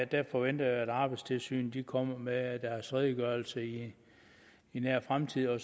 der forventer jeg at arbejdstilsynet kommer med deres redegørelse i nær fremtid og